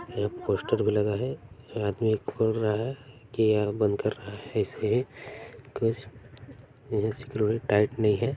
एक पोस्टर भी लगा है आदमी खोल रहा है के या बंद कर रहा है ऐसे ही कुछ स्क्रू टाइट नहीं है।